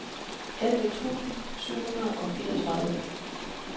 elleve tusind syv hundrede og fireogtredive